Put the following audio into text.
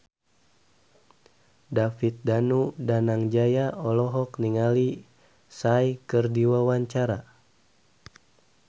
David Danu Danangjaya olohok ningali Psy keur diwawancara